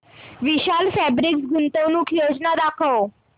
विशाल fabrics गुंतवणूक योजना दाखव